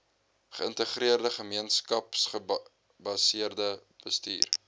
geïntegreerde gemeenskapsgebaseerde bestuur